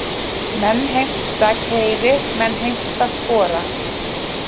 Menn heimta keyri, menn heimta spora.